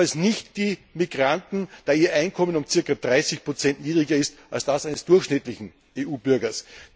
Jedenfalls nicht die Migranten, da ihr Einkommen um circa 30 niedriger ist als das eines durchschnittlichen EU Bürgers.